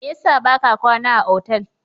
Me yasa ba ka kwana a otal?